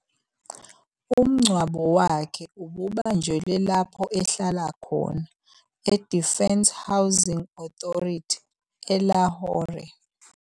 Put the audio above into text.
Umngcwabo wakhe ububanjelwe lapho ahlala khona eDefence Housing Authority, eLahore.